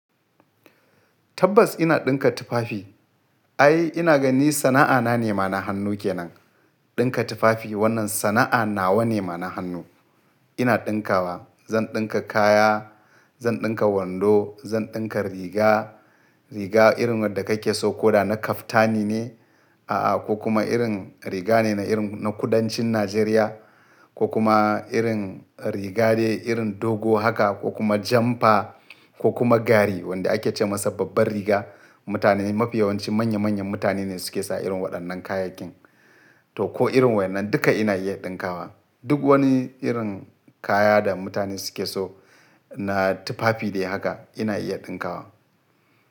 Tabbas ina ɗinka tufafi. Ai ina gani sana'a na ne mana hannu ke nan. Ɗinka tufafi wannan sana'a nawa ne mana hannu. Ina ɗinkawa, zan ɗinka kaya, zan ɗinka wando, zan ɗinka riga, riga irin wadda kake so ko da na kaftani ne, a'a ko kuma irin riga ne na irin na kudancin Najeriya ko kuma irin riga dai irin dogo haka ko kuma jamfa ko kuma gari wanda ake ce masa babbar riga. Mutane mafi yawanci manya manyan mutane ne suke sa irin waɗannan kayakin. To ko irin waɗannan duka ina iya ɗinkawa. Duk wani irin kaya da mutane suke so na tufafi dai haka ina iya ɗinkawa.